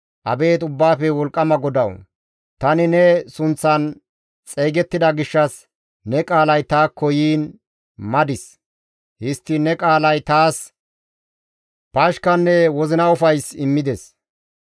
Abeet Ubbaafe Wolqqama GODAWU! tani ne sunththan xeygettida gishshas ne qaalay taakko yiin madis; histtiin ne qaalay taas pashkanne wozina ufays immides.